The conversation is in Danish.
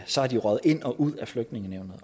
så er de røget ind og ud af flygtningenævnet